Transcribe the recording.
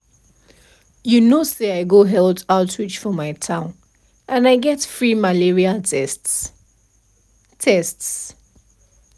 you know say i go health outreach for my town and i get free malaria tests. tests.